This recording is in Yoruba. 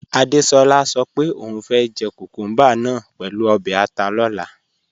Adéṣolá sọ pé ọún fẹ́ jẹ́ kúkùmbà náà pẹ̀lú obè̩ àtà lọ̀là.